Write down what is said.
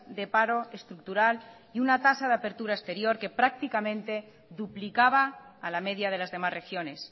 de paro estructural y una tasa de apertura exterior que prácticamente duplicaba a la media de las demás regiones